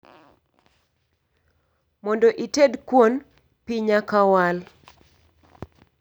Mondo ited kuon, pii nyaka wal